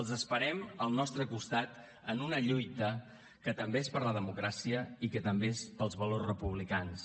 els esperem al nostre costat en una lluita que també és per la democràcia i que també és pels valors republicans